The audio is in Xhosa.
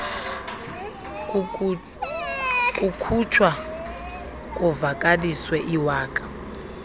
kukhutshwa kuvakaliswe iwaka